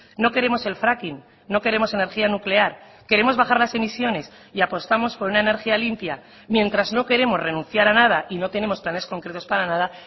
no queremos el fracking no queremos energía nuclear queremos bajar las emisiones y apostamos por una energía limpia mientras no queremos renunciar a nada y no tenemos planes concretos para nada